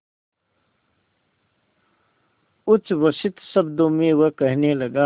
उच्छ्वसित शब्दों में वह कहने लगा